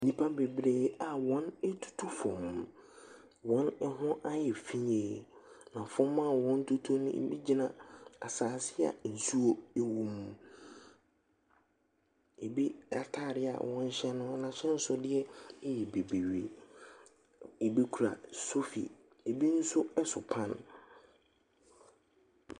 Nnipa bebree a wɔretutu fam, wɔn ho ayɛ fii yie. Na fam a wɔretutu no, bi gyina amona mu a nsuo wɔ mu. Bi ataadeɛ a wɔhyɛ no, n’ahyɛnsodeɛ yɛ bibire, bi kura sɔfi. Bi nso so pan.